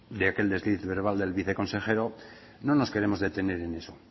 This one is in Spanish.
de aquel desliz verbal del viceconsejero no nos queremos detener en eso